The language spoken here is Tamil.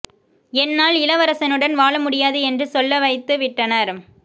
என்னால் இளவரசனுடன் வாழ முடியாது என்று சொல்ல வைத்து விட்டனர்